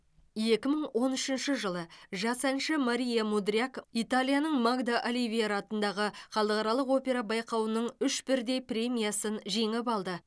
екі мың он үшінші жылы жас әнші мария мудряк италияның магда оливера атындағы халықаралық опера байқауының үш бірдей премиясын жеңіп алды